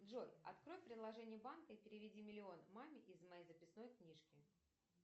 джой открой приложение банка и переведи миллион маме из моей записной книжки